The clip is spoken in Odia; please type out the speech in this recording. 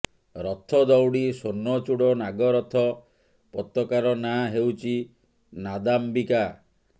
ରଥ ଦଉଡ଼ି ସ୍ୱର୍ଣ୍ଣଚୁଡ଼ ନାଗ ରଥ ପତାକାର ନାଁ ହେଉଛି ନାଦାମ୍ବିକା